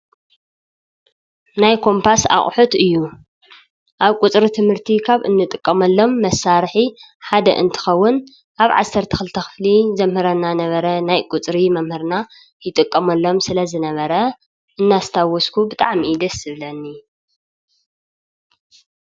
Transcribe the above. ናይ ኮምፓስ ኣቕሑት እዩ፡፡ ኣብ ቁፅሪ ትምህርቲ ካብ እንጥቀመሎም መሳርሒ ሓደ እንትኸውን ኣብ 12ክፍሊ ዘምህረና ነበረ ናይ ቁፅሪ መምህርና ይጥቀመሎም ስለዝነበረ እናሰታወስኩ ብጣዕሚ እዩ ደስ ዝብለኒ፡፡